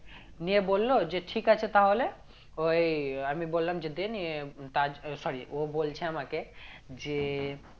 নিয়ে বললো যে ঠিক আছে তাহলে ওই আমি বললাম যে দে নিয়ে তাজ sorry ও বলছে আমাকে যে